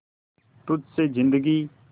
तुझ से जिंदगी